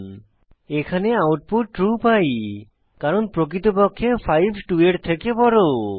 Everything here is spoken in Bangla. এইক্ষেত্রে আমরা আউটপুট ট্রু পাই কারণ প্রকৃতপক্ষে 5 2 এর থেকে বড়